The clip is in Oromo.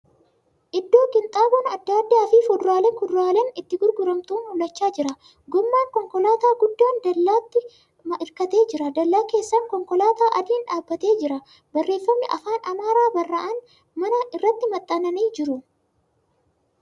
Iddoo qinxaaboon adda addaa fi fuduralee di kuduraaleen itti gurguramantu mul'achaa jira. Gommaan konkolaataa guddaa dallaatti hirkatee jira. Dallaa keessan konkolaataa adiin dhaabbatee jira. Barreeffamni afaan Amaaraan barraa'an mana irratti maxxananii jiru.